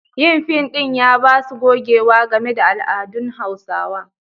Yin fim ɗin ya ba su gogewa game da al'adun Hausawa.